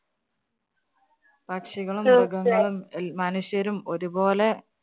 പക്ഷികളും, മൃഗങ്ങളും, എല്‍ മനുഷ്യരും ഒരുപോലെ